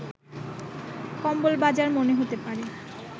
কম্বল বাজার মনে হতে পারে